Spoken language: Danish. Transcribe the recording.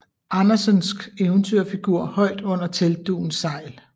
Andersensk eventyrfigur højt under teltdugens sejl